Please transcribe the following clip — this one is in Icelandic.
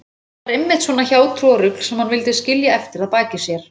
Það var einmitt svona hjátrúarrugl sem hann vildi skilja eftir að baki sér.